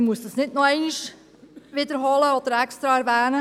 Deshalb muss man dies nicht noch einmal wiederholen oder extra erwähnen.»